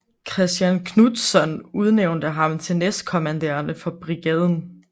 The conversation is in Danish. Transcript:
Kristian Knudtzon udnævnte ham til næstkommanderende for Brigaden